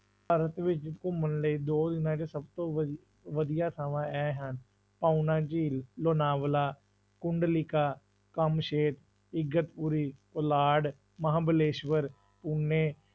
ਭਾਰਤ ਵਿੱਚ ਘੁੰਮਣ ਲਈ ਦੋ ਜਿਹੜੇ ਸਭ ਤੋਂ ਵਧੀ~ ਵਧੀਆ ਥਾਵਾਂ ਇਹ ਹਨ, ਪੌਣਾ ਝੀਲ, ਲੋਨਾਵਲਾ, ਕੁੰਡਲੀਕਾ, ਕਮਸ਼ੇਰ, ਇਗਦਪੁਰੀ, ਪੋਲਾਡ, ਮਹਾਂਬਲੇਸ਼ਵਰ, ਪੂਨੇ,